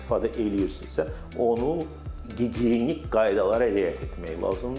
İstifadə eləyirsizsə, onu gigiyenik qaydalara riayət etmək lazımdır.